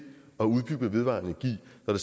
at